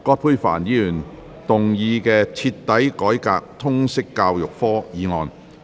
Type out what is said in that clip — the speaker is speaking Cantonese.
葛珮帆議員動議的"徹底改革通識教育科"議案。